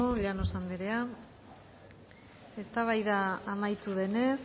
llanos andrea eztabaida amaitu denez